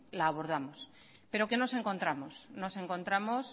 la abordamos pero qué nos encontramos nos encontramos